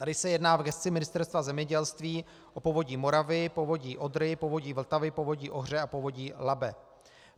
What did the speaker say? Tady se jedná v gesci Ministerstva zemědělství o Povodí Moravy, Povodí Odry, Povodí Vltavy, Povodí Ohře a Povodí Labe.